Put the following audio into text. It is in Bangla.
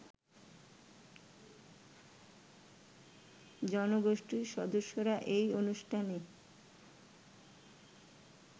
জনগোষ্ঠীর সদস্যরা এই অনুষ্ঠানে